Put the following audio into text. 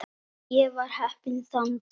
Ég var heppinn þann dag.